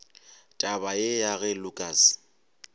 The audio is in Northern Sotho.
taba ye ya ge lukas